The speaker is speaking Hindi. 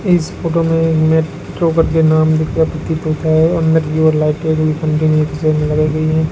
इस फोटो में मेट्रो करके नाम लिखा प्रतीत होता है अंदर की ओर लाइटे लगाई गई हैं।